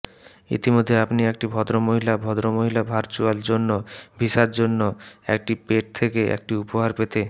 ইতিমধ্যে আপনি একটি ভদ্রমহিলা ভদ্রমহিলা ভার্চুয়াল জন্য ভিসার জন্য একটি পেট থেকে একটি উপহার পেতে